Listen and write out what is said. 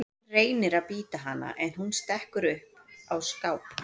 Hann reynir að bíta hana en hún stekkur upp á skáp.